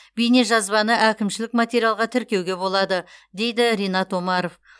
бейнежазбаны әкімшілік материалға тіркеуге болады дейді ринат омаров